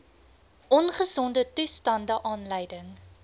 ongesonde toestande aanleiding